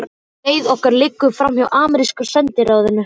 Leið okkar liggur framhjá ameríska sendiráðinu.